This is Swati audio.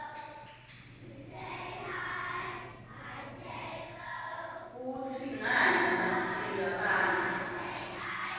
kutsi kwngani basika banbza